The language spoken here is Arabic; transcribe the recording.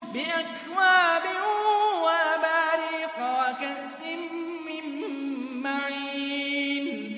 بِأَكْوَابٍ وَأَبَارِيقَ وَكَأْسٍ مِّن مَّعِينٍ